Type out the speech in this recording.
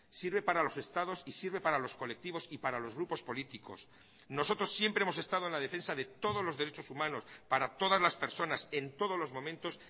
sirve para los estados y sirve para los colectivos y para los grupos políticos nosotros siempre hemos estado en la defensa de todos los derechos humanos para todas las personas en todos los momentos